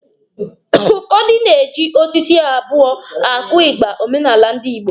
Ụfọdụ ndị na-eji osisi abụọ akụ ịgba omenala ndi Igbo.